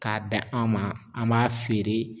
K'a d'an an ma an b'a feere